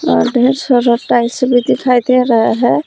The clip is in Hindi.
और ढेर सारा टाइल्स भी दिखाई दे रहा है।